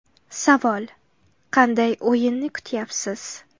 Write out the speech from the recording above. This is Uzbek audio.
Savol: Qanday o‘yinni kutyapsiz?